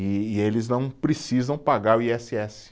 E e eles não precisam pagar oi esse esse.